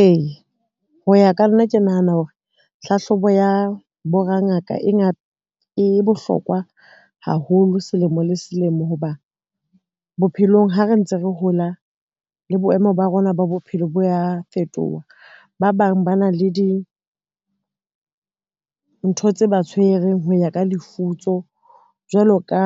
Ee, ho ya ka nna ke nahana hore tlhahlobo ya borangaka e bohlokwa haholo selemo le selemo ho ba, bophelong ha re ntse re hola le boemo ba rona ba bophelo bo ya fetoha. Ba bang ba na le dintho tse ba tshwereng ho ya ka lefutso, jwalo ka